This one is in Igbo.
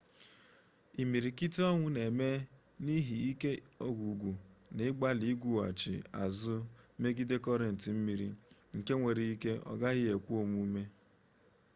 imirikiti ọnwụ na-eme n'ihi ike ọgwụgwụ n'ịgbalị igwughachi azụ megide kọrenti mmiri nke nwere ike ọ gaghị ekwe omume